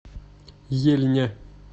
ельня